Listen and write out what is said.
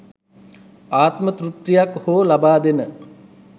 ආත්ම තෘප්තියක් හෝ ලබාදෙන